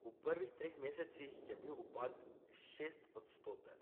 V prvih treh mesecih je bil upad šestodstoten.